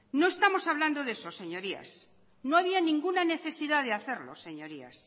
no estamos hablando de eso señorías no había ninguna necesidad de hacerlo señorías